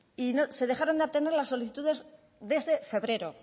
y se dejaron de atender las solicitudes desde febrero